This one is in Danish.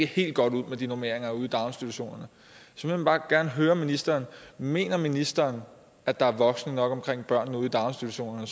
helt godt ud med de normeringer ude i daginstitutionerne så jeg vil bare gerne høre ministeren mener ministeren at der er voksne nok omkring børnene ude i daginstitutionerne